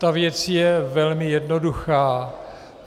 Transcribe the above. Ta věc je velmi jednoduchá.